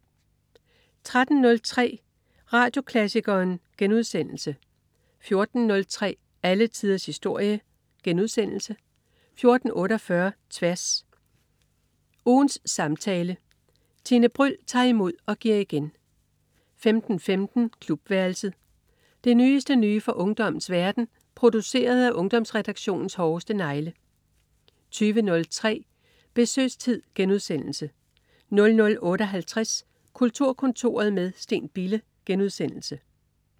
13.03 Radioklassikeren* 14.03 Alle tiders historie* 14.48 Tværs. Ugens samtale. Tine Bryld tager imod og giver igen 15.15 Klubværelset. Det nyeste nye fra ungdommens verden, produceret af Ungdomsredaktionens hårdeste negle 20.03 Besøgstid* 00.58 Kulturkontoret med Steen Bille*